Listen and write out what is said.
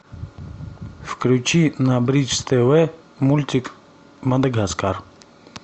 включи на бридж тв мультик мадагаскар